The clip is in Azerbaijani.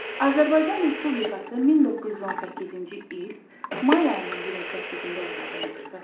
Azərbaycan Respublikası 1918-ci il may ayının 28-də yaradılmışdı.